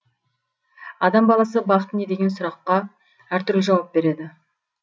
адам баласы бақыт не деген сұраққа әртүрлі жауап береді